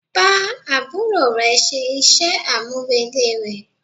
Bá àbúrò rẹ ṣe iṣẹ́ àmúrelé rẹ̀.